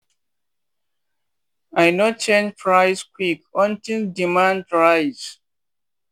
i no change price quick until demand rise.